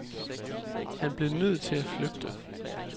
Han blev nødt til at flygte.